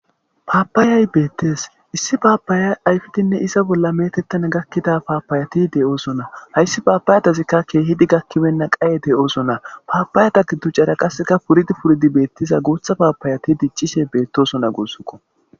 paapayay beettes issi paabaya ayfidinne iza bolla metettan gakkida paapayati de7oosona hayssi paapayatazikka keehidi gakkibenna qaye de7ooso na paapayata giduccara qasseka puridi puridi beettiza guutha paapayati diccishe beettosona guussokko